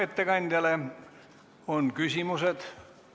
Ettekandjale on küsimusi.